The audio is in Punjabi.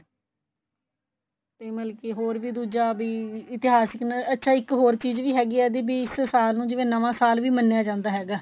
ਤੇ ਮਤਲਬ ਕੀ ਹੋਰ ਵੀ ਦੂਜਾ ਵੀ ਇਤਿਹਾਸ ਅੱਛਾ ਇੱਕ ਹੋਰ ਚੀਜ਼ ਵੀ ਹੈਗੀ ਏ ਈਦੀ ਬੀ ਇਸ ਸਾਲ ਨੂੰ ਜਿਵੇਂ ਨਵਾ ਸਾਲ ਵੀ ਮੰਨਿਆ ਜਾਂਦਾ ਹੈਗਾ